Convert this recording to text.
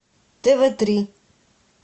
тв три